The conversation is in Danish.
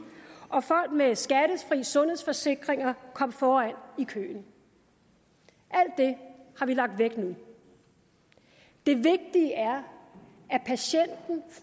og folk med skattefri sundhedsforsikringer kom foran i køen alt det har vi lagt væk nu det vigtige er